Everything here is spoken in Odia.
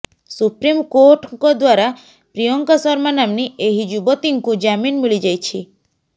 ସୁପ୍ରିମକୋର୍ଟଙ୍କ ଦ୍ୱାରା ପ୍ରିୟଙ୍କା ଶର୍ମା ନାମ୍ନୀ ଏହି ଯୁବତୀଙ୍କୁ ଜାମିନ୍ ମିଳିଯାଇଛି